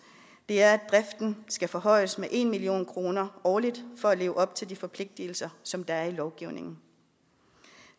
er at driften skal forhøjes med en million kroner årligt for at leve op til de forpligtelser som der er i lovgivningen